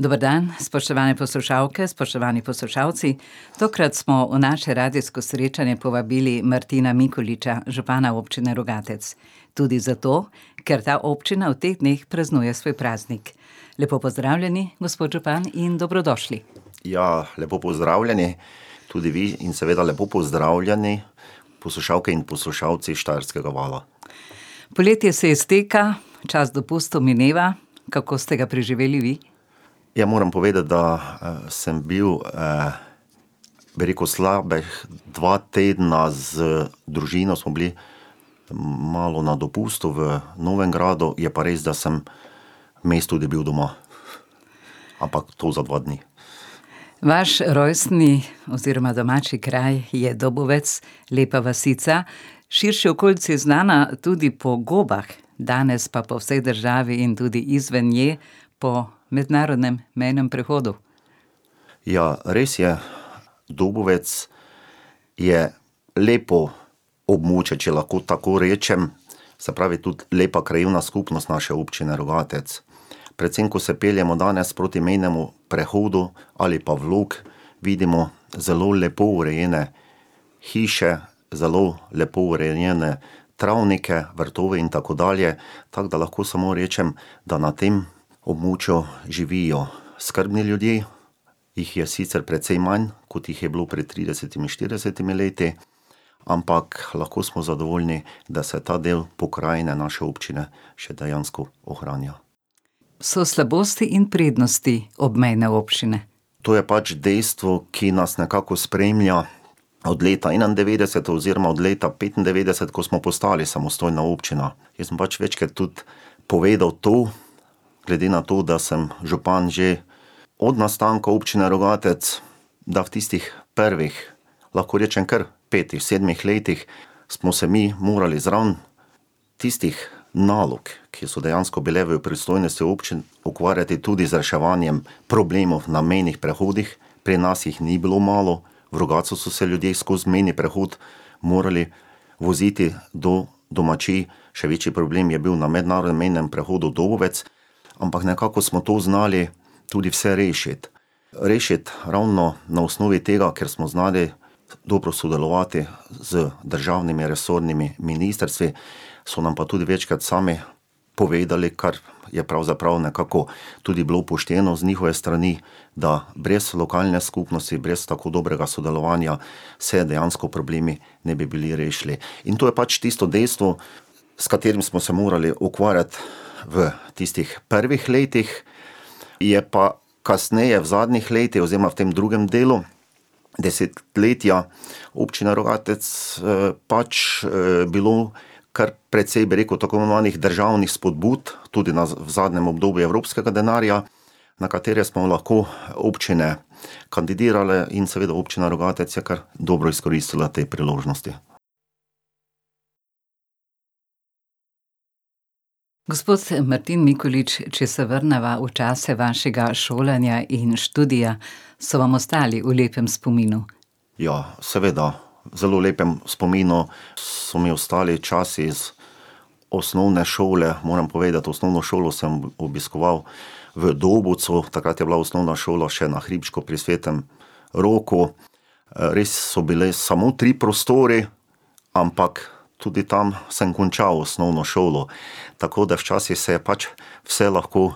Dober dan, spoštovane poslušalke, spoštovani poslušalci, tokrat smo v naše radijsko srečanje povabili Martina Mikoliča, župana občine Rogatec. Tudi zato, ker ta občina v teh dneh praznuje svoj praznik. Lepo pozdravljeni, gospod župan, in dobrodošli. Ja, lepo pozdravljeni tudi vi in seveda lepo pozdravljeni poslušalke in poslušalci Štajerskega vala. Poletje se izteka, čas dopustov mineva, kako ste ga preživeli vi? Ja, moram povedati, da, sem bil, bi rekel, slabih dva tedna z družino smo bili malo na dopustu v Novigradu, je pa res, da sem vmes tudi bil doma. Ampak to za dva dni. Vaš rojstni oziroma domači kraj je Dobovec, lepa vasica, širši okolici znana tudi po gobah, danes pa po vsej državi in tudi izven nje po mednarodnem mejnem prehodu. Ja, res je. Dobovec je lepo območje, če lahko tako rečem, se pravi tudi lepa krajevna skupnost naše Občine Rogatec. Predvsem, ko se peljemo danes proti mejnemu prehodu ali pa v Log, vidimo zelo lepo urejene hiše, zelo lepo urejene travnike, vrtove in tako dalje, tako da lahko samo rečem, da na tem območju živijo skrbni ljudje, jih je sicer precej manj, kot jih je bilo pred tridesetimi, štiridesetimi leti, ampak lahko smo zadovoljni, da se ta del pokrajine naše občine še dejansko ohranja. So slabosti in prednosti obmejne občine. To je pač dejstvo, ki nas nekako spremlja od leta enaindevetdeset oziroma od leta petindevetdeset, ko smo postali samostojna občina. Jaz sem pač večkrat tudi povedal to, glede na to, da sem župan že od nastanka Občine Rogatec, da v tistih prvih, lahko rečem kar petih, sedmih letih smo se mi morali zraven tistih nalog, ki so dejansko bile v pristojnosti občin, ukvarjati tudi z reševanjem problemov na mejnih prehodih, pri nas jih ni bilo malo. V Rogatcu so se ljudje skoz mejni prehod morali voziti do domačij, še večji problem je bil na mednarodnem mejnem prehodu Dobovec, ampak nekako smo to znali tudi vse rešiti. Rešiti ravno na osnovi tega, ker smo znali dobro sodelovati z državnimi resornimi ministrstvi, so nam pa tudi večkrat sami povedali, kar je pravzaprav nekako tudi bilo pošteno z njihove strani, da brez lokalne skupnosti, brez tako dobrega sodelovanja se dejansko problemi ne bi bili rešili. In to je pač tisto dejstvo, s katerim smo se morali ukvarjati v tistih prvih letih, je pa kasneje v zadnjih letih oziroma v tem drugem delu desetletja Občina Rogatec, pač, bilo kar precej, bi rekel, tako imenovanih državnih spodbud, tudi na zadnjem obdobju evropskega denarja, na katere smo lahko občine kandidirale, in seveda Občina Rogatec je kar dobro izkoristila te priložnosti. Gospod, Martin Mikolič, če se vrneva v čase vašega šolanja in študija, so vam ostali v lepem spominu? Ja, seveda. V zelo lepem spominu so mi ostali časi iz osnovne šole, moram povedati, osnovno šolo sem obiskoval v Dobovcu, takrat je bila osnovna šola še na hribčku pri svetem Roku. res so bili samo tri prostori, ampak tudi tam sem končal osnovno šolo. Tako da včasih se je pač vse lahko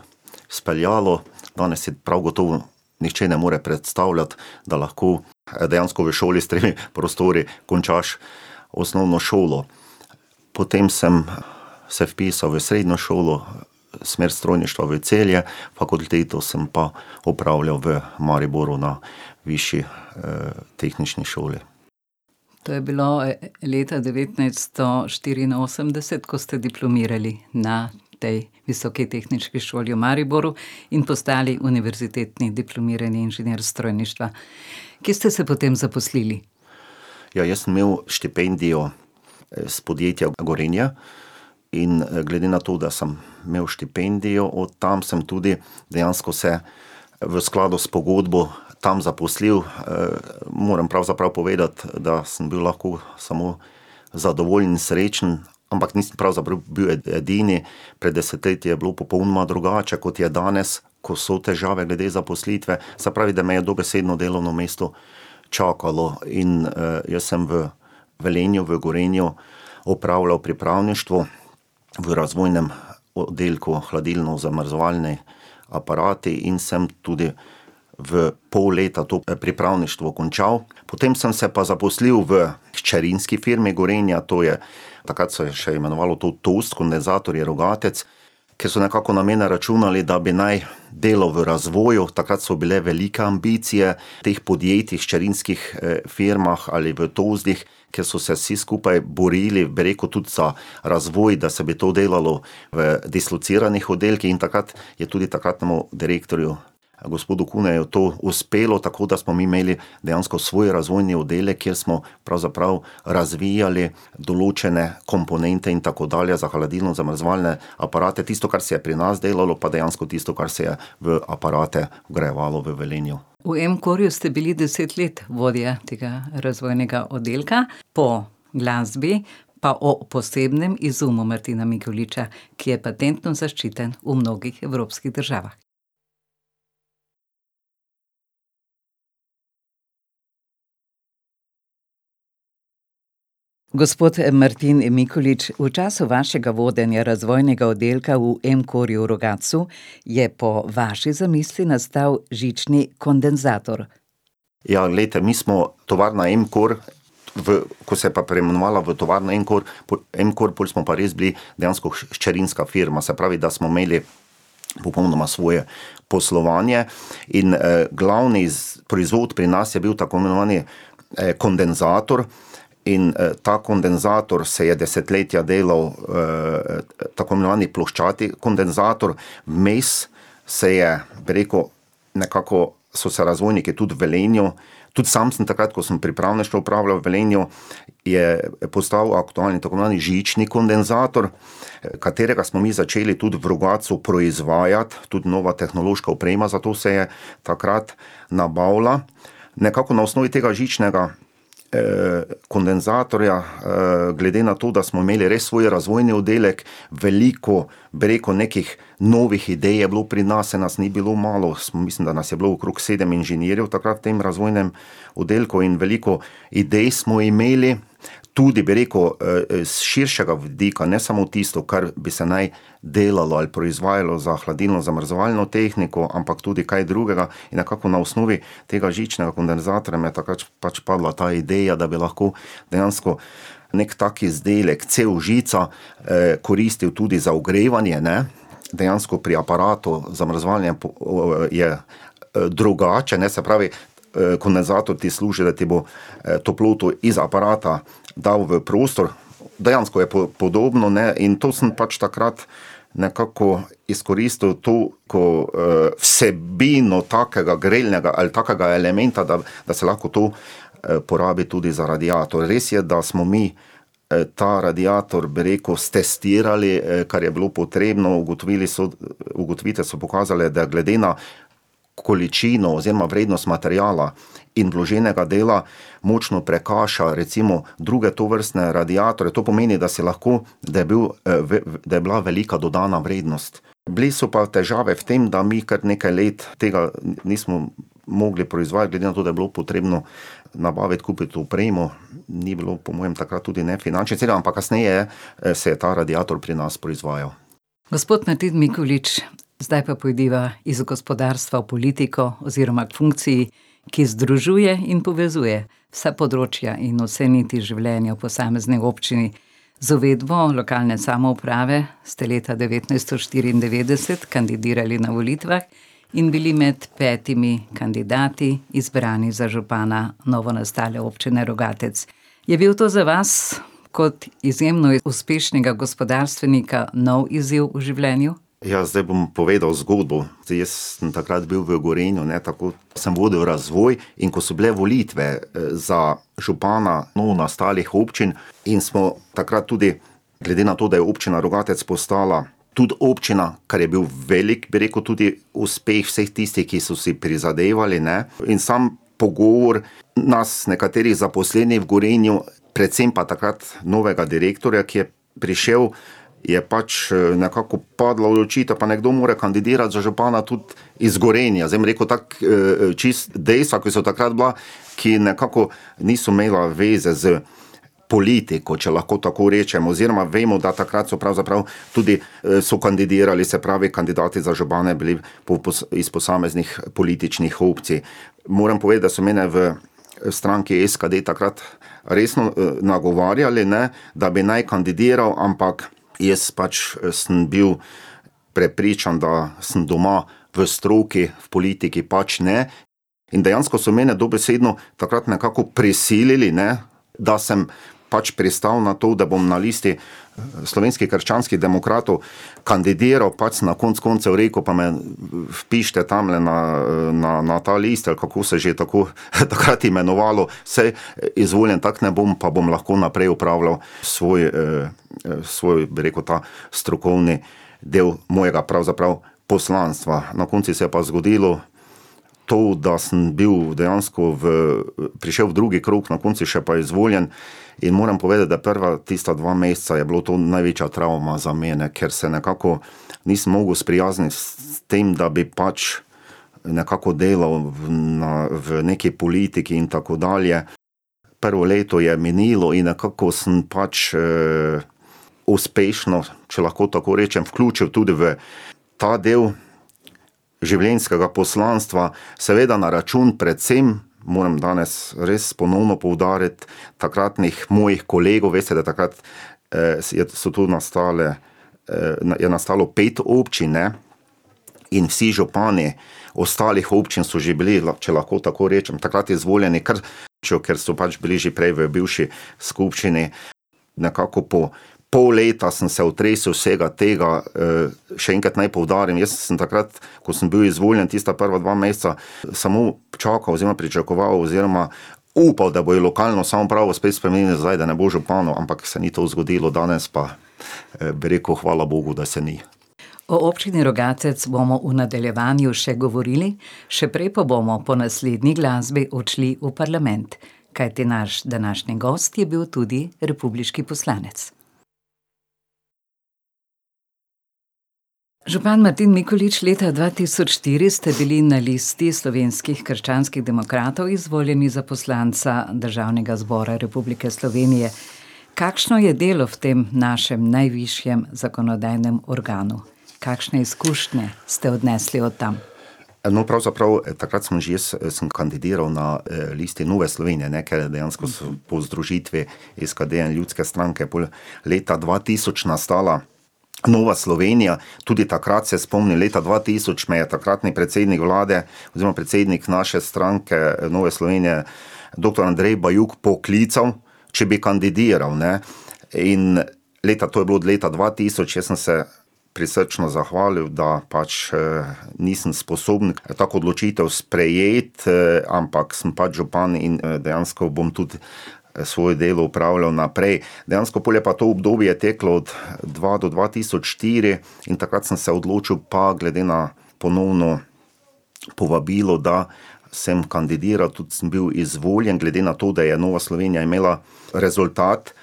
speljalo, danes si prav gotovo nihče ne more predstavljati, da lahko, dejansko v šoli s tremi prostori končaš osnovno šolo. Potem sem se vpisal v srednjo šolo, smer strojništva v Celje, fakulteto sem pa opravljal v Mariboru na Višji, tehnični šoli. To je bilo, leta devetnajststo štiriinosemdeset, ko ste diplomirali na ti Visoki tehniški šoli v Mariboru in postali univerzitetni diplomirani inženir strojništva. Kje ste se potem zaposlili? Ja, jaz sem imel štipendijo, iz podjetja Gorenja in, glede na to, da sem imel štipendijo od tam, sem tudi dejansko se v skladu s pogodbo tam zaposlil. moram pravzaprav povedati, da sem bil lahko samo zadovoljen in srečen. Ampak nisem pravzaprav bil edini, pred desetletji je bilo popolnoma drugače, kot je danes, ko so težave glede zaposlitve. Se pravi, da me je dobesedno delovno mesto čakalo, in, jaz sem v Velenju, v Gorenju, opravljal pripravništvo v razvojnem oddelku, hladilno-zamrzovalni aparati, in sem tudi v pol leta to pripravništvo končal. Potem sem se pa zaposlil v hčerinski firmi Gorenja, to je takrat se je še imenovalo to Tulsko, ne Zatorje Rogatec, kjer so nekako na mene računali, da bi naj delal v razvoju, takrat so bile velike ambicije teh podjetij, hčerinskih, firmah ali v , ker so se vsi skupaj borili, bi rekel tudi za razvoj, da se bi to delalo v dislociranih oddelkih, in takrat je tudi takratnemu direktorju, gospodu Kuneju, to uspelo, tako da smo mi imeli dejansko svoj razvojni oddelek, kjer smo pravzaprav razvijali določene komponente in tako dalje za hladilno-zamrzovalne aparate. Tisto, kar se je pri nas delalo, pa dejansko tisto, kar se je v aparate urejevalo v Velenju. V Emkorju ste bili deset let vodja tega razvojnega oddelka, po glasbi pa o posebnem izumu Martina Mikoliča, ki je patentno zaščiten v mnogih evropskih državah. Gospod Martin Mikolič, v času vašega vodenja razvojnega oddelka v Emkorju v Rogatcu je po vaši zamisli nastal žični kondenzator. Ja, glejte, mi smo, Tovarna Emkor, v, ko se je pa preimenovala v Tovarna Emkor pol, Emkor, pol smo pa res bili dejansko hčerinska firma, se pravi, da smo imeli popolnoma svoje poslovanje. In, glavni proizvod pri nas je bil tako imenovani, kondenzator in, ta kondenzator se je desetletja delal, tako imenovani ploščati kondenzator. Vmes se je preko, nekako so se razvojnike tudi v Velenju, tudi sam sem takrat, ko sem pripravništvo opravljal v Velenju, je postal aktualen tako imenovani žični kondenzator, katerega smo mi začeli tudi v Rogatcu proizvajati, tudi mnoga tehnološka oprema za to se je takrat nabavila, nekako na osnovi tega žičnega, kondenzatorja. glede na to, da smo imeli res svoj razvojni oddelek, veliko, bi rekel, nekih novih idej je bilo pri nas, saj nas ni bilo malo, mislim, da nas je bilo okrog sedem inženirjev takrat v tem razvojnem oddelku, in veliko idej smo imeli, tudi bi rekel, s širšega vidika, ne samo tisto, kar bi se naj delalo ali proizvajalo za hladilno-zamrzovalno tehniko, ampak tudi kaj drugega, in nekako na osnovi tega žičnega kondenzatorja mi je takrat pač padla ta ideja, da bi lahko dejansko neki tak izdelek, cev-žica, koristil tudi za ogrevanje, ne. Dejansko pri aparatu zamrzovanja je, drugače, ne, se pravi, kondenzator ti služi, da ti bo, toploto iz aparata dal v prostor, dejansko je podobno, ne, in to sem pač takrat nekako izkoristil to, ko, vsebino takega grelnega ali kakega elementa, da, da se lahko to, porabi tudi za radiator, res je, da smo mi, ta radiator, bi rekel, stestirali, kar je bilo potrebno, ugotovili so, ugotovitve so pokazale, da glede na količino oziroma prednost materiala in vloženega dela močno prekaša, recimo druge tovrstne radiatorje, to pomeni, da si lahko, da je bil, da je bila velika dodatna vrednost. Bile so pa težave v tem, da mi kar nekaj let tega, nismo mogli proizvajati, glede na to, da je bilo potrebno navaditi, kupiti opremo, ni bilo po mojem takrat tudi ne seveda, ampak kasneje, se je ta radiator pri nas proizvajal. Gospod Martin Mikolič, zdaj pa pojdiva iz gospodarstva v politiko oziroma k funkciji, ki združuje in povezuje vsa področja in vse niti življenja v posamezni občini. Z uvedbo lokalne samouprave ste leta devetnajststo štiriindevetdeset kandidirali na volitvah in bili med petimi kandidati izbrani za župana novonastale Občine Rogatec. Je bil to za vas kot izjemno uspešnega gospodarstvenika nov izziv v življenju? Ja, zdaj bom povedal zgodbo. Zdaj, jaz sem takrat bil v Gorenju, ne, tako samo vodil razvoj, in ko so bile volitve, za župana novonastalih občin in smo takrat tudi glede na to, da je Občina Rogatec postala tudi občina, kar je bil velik, bi rekel, tudi uspeh vseh tistih, ki so si prizadevali, ne, in sam pogovor nas, nekaterih zaposlenih v Gorenju, predvsem pa takrat novega direktorja, ki je prišel, je pač, nekako padla odločitev, pa nekdo mora kandidirati za župana tudi iz Gorenja, zdaj bom rekel tako, čisto dejstva, ki so takrat bila, ki nekako niso imela veze s politiko, če lahko tako rečem, oziroma vemo, da takrat so pravzaprav tudi, so kandidirali, se pravi kandidati za župana bili po iz posameznih političnih opcij. Moram povedati, da so mene v, stranki SKD takrat resno, nagovarjali, ne, da bi naj kandidiral, ampak jaz pač, sem bil prepričan, da sem doma v stroki, v politiki pač ne. In dejansko so mene dobesedno takrat nekako prisilili, ne, da sem pač pristal na to, da bom na listi Slovenskih krščanskih demokratov, kandidiral, pač sem na koncu koncev rekel: "Pa me vpišite tamle na, na, na ta list." Ali kako se že tako, takrat imenovalo. Saj izvoljen tako ne bom, pa bom lahko naprej opravljal svoj, svoj, bi rekel, ta strokovni del mojega pravzaprav poslanstva. Na koncu se je pa zgodilo, to, da sem bil dejansko v, prišel v drugi krog, na koncu še pa izvoljen, in moram povedati, da prva tista dva meseca, je bilo to največja travma za mene, ker se nekako nisem mogel sprijazniti s tem, da bi pač nekako delal v, na, v neki politiki in tako dalje. Prvo leto je minilo in nekako sem pač, uspešno, če lahko tako rečem, vključil tudi v ta del, življenjskega poslanstva, seveda na račun predvsem, moram danes res ponovno poudariti, takratnih mojih kolegov, veste, da takrat, so tu nastale, je nastalo pet občin, ne, in vsi župani ostalih občin so že bili, če lahko tako rečem, takrat izvoljeni, ker ker so pač bili že prej v bivši skupščini. Nekako po pol leta sem se otresel vsega tega, še enkrat naj poudarim, jaz sem takrat, ko sem bil izvoljen, tista prva dva meseca samo čakal oziroma pričakoval oziroma upal, da bojo lokalno samoupravo spet spremenili nazaj, da ne bo župana, ampak se ni to zgodilo, danes pa, bi rekel, hvala bogu, da se ni. O Občini Rogatec bomo v nadaljevanju še govorili, še prej pa bomo po naslednji glasbi odšli v parlament. Kajti naš današnji gost je bil tudi republiški poslanec. Župan Martin Mikolič, leta dva tisoč štiri ste bili na listi Slovenskih krščanskih demokratov izvoljeni za poslanca Državnega zbora Republike Slovenije. Kakšno je delo v tem našem najvišjem zakonodajnem organu? Kakšne izkušnje ste odnesli od tam? No, pravzaprav, takrat sem že jaz, sem kandidiral na, listi Nove Slovenije, ne, ker dejansko so po združitvi SKD-ja in Ljudske stranke pol leta dva tisoč nastala Nova Slovenija. Tudi takrat se spomnim, leta dva tisoč me je takratni predsednik vlade oziroma predsednik naše stranke, Nove Slovenije, doktor Andrej Bajuk poklical, če bi kandidiral, ne. In leta, to je bilo od leta dva tisoč, jaz sem se prisrčno zahvalil, da pač, nisem sposoben tako odločitev sprejeti, ampak sem pač župan in, dejansko bom tudi svoje delo opravljal naprej. Dejansko pol je pa to obdobje teklo od dva do dva tisoč štiri in takrat sem se odločil pa glede na ponovno povabilo, da sem kandidiral, tudi sem bil izvoljen, glede na to, da je Nova Slovenija imela rezultat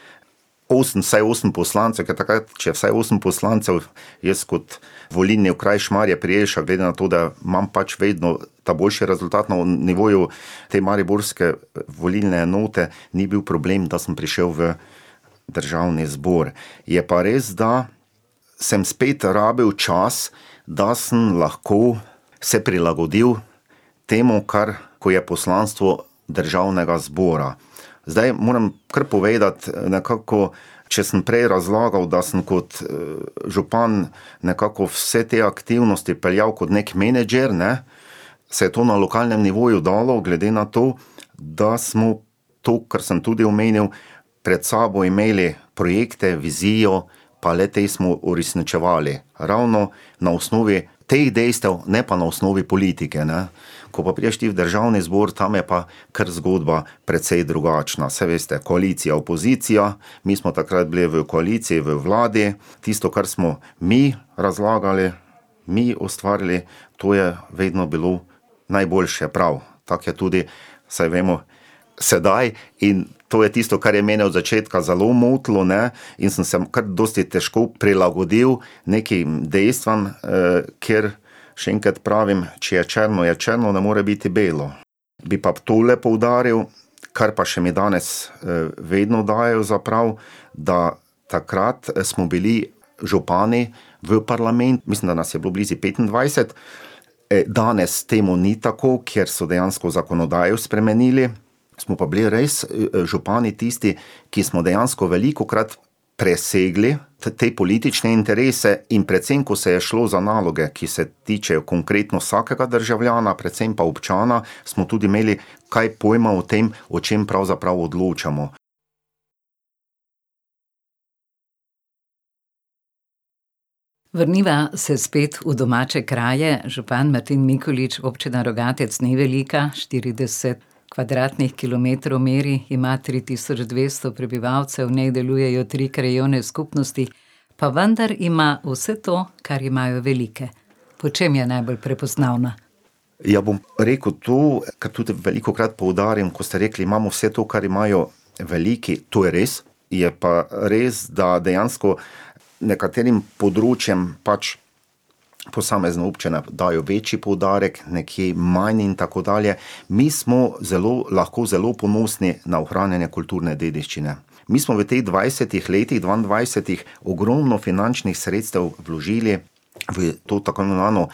osem, vsaj osem poslancev, ker takrat, če je vsaj osem poslancev ... Jaz kot volilni okraj Šmarje pri Jelšah gledam na to, da imam pač vedno ta boljši rezultat na nivoju te mariborske, volilne enote, ni bil problem, da sem prišel v državni zbor. Je pa res, da sem spet rabil čas, da sem lahko se prilagodil temu, kar, ko je poslanstvo državnega zbora. Zdaj moram kar povedati, nekako, če sem prej razlagal, da sem kot, župan nekako vse te aktivnosti peljal kot neki menedžer, ne, se je to na lokalnem nivoju dalo, glede na to, da smo to, kar sem tudi omenil, pred sabo imeli projekte, vizijo pa le-te smo uresničevali. Ravno na osnovi teh dejstev, ne pa na osnovi politike, ne. Ko pa prišel ti v državni zbor, tam je pa kar zgodba precej drugačna, saj veste, koalicija, opozicija, mi smo takrat bili v koaliciji, v vladi, tisto, kar smo mi razlagali, mi ustvarili, to je vedno bilo najboljše, prav. Tako je tudi, saj vemo, sedaj in to je tisto, kar je mene od začetka zelo motilo, ne, in sem se kar dosti težko prilagodil nekim dejstvom, ker še enkrat pravim, če je črno, je črno, ne more biti belo. Bi pa tole poudaril, kar pa še mi danes, vedno dajejo za prav, da takrat smo bili župani v mislim, da nas je bilo blizu petindvajset, danes temu ni tako, ker so dejansko zakonodajo spremenili, smo pa bili res, župani tisti, ki smo dejansko velikokrat presegli te politične interese, in predvsem, ko se je šlo za naloge, ki se tičejo konkretno vsakega državljana, predvsem pa občana, smo tudi imeli kaj pojma o tem, o čem pravzaprav odločamo. Vrniva se spet v domače kraje. Župan Martin Mikolič, Občina Rogatec ni velika, štirideset kvadratnih kilometrov meri, ima tri tisoč dvesto prebivalcev, v njej delujejo tri krajevne skupnosti. Pa vendar ima vse to, kar imajo velike. Po čem je najbolj prepoznavna? Ja, bom rekel to, kar tudi velikokrat poudarim, ko ste rekli, imamo vse to, kar imajo veliki, to je res. Je pa res, da dejansko nekaterim področjem pač posamezna občina da večji poudarek, nekje manj in tako dalje. Mi smo zelo, lahko zelo ponosni na ohranjanje kulturne dediščine. Mi smo v teh dvajsetih letih, dvaindvajsetih, ogromno finančnih sredstev vložili v to tako imenovano